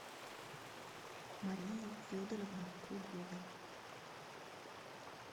марии федоровны кругловой